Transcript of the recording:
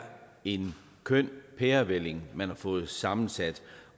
en køn pærevælling man her har fået sammensat